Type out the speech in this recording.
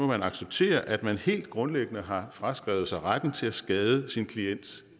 man acceptere at man helt grundlæggende har fraskrevet sig retten til at skade sin klients